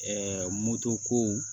moto ko